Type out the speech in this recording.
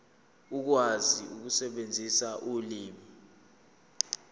ukwazi ukusebenzisa ulimi